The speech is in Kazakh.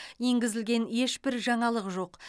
енгізілген ешбір жаңалық жоқ